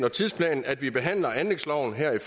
og tidsplanen at vi behandler anlægsloven her i